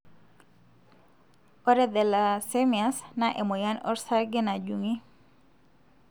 ore Thalassemias na emoyian osarge najungi.